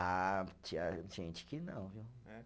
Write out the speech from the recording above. Ah, tinha gente que não, viu? É?